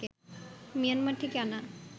Myanmar থেকে আনা